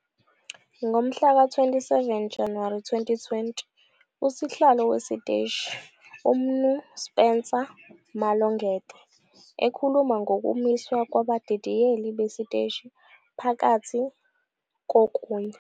Ngomhlaka 27 Januwari 2020 uSihlalo wesiteshi, uMnu Spencer Malongete ekhuluma ngokumiswa kwabadidiyeli besiteshi phakathi kokunye.